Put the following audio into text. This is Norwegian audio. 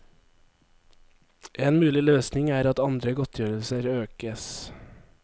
En mulig løsning er at andre godtgjørelser økes.